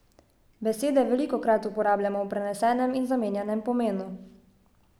Besede velikokrat uporabljamo v prenesenem in zamenjanem pomenu.